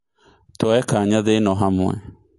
tũoye kanya thĩ ĩno hamwe